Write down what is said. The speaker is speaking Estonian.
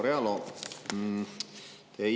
Proua Realo!